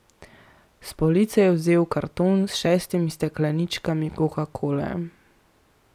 S police je vzel karton s šestimi stekleničkami kokakole.